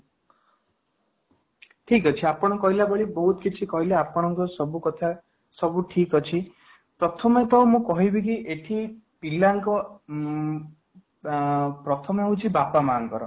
ଠିକ ଅଛି କହିଲା ଭଳି ବହୁତ କିଛି କହିଲେ ଆପଣ ଙ୍କ ସବୁ କଥା ସବୁ ଠିକ ଅଛି ପ୍ରଥମେ ତ ମୁଁ କହିବି କି ପିଲା ଙ୍କ ଉଁ ବ ପ୍ରଥମେ ହଉଛି ବାପା ମାଆ ତାଙ୍କର